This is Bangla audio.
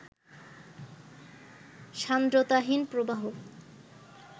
সান্দ্রতাহীন প্রবাহ